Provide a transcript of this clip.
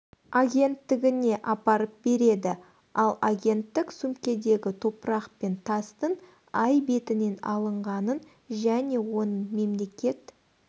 агенттігіне апарып береді ал агенттік сөмкедегі топырақ пен тастың ай бетінен алынғанын және оның мемлекет